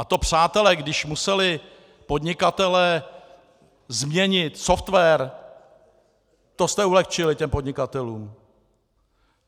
A to, přátelé, když museli podnikatelé změnit software, to jste ulehčili těm podnikatelům!